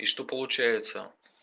и что получается